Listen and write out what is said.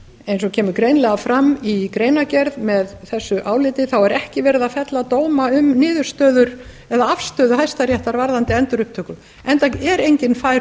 eins og kemur greinilega fram í greinargerð með þessu áliti er ekki verið að fella dóma um niðurstöður eða afstöðu hæstaréttar varðandi endurupptöku enda er enginn fær